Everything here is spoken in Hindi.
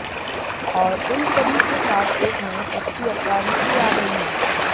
और इन सभी के साथ एक नए सेक्सी अवतार में भी आ गई हैं